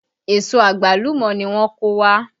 Èso àgbálùmọ́ ni wọ́n kó wá